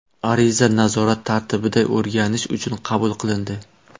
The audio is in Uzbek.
Ariza nazorat tartibida o‘rganish uchun qabul qilindi.